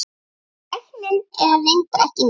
Tæknin er reyndar ekki ný.